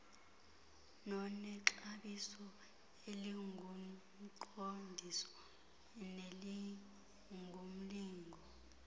nonexabiso elingumqondiso nelingumlingo